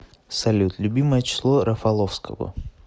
салют любимое число рафаловского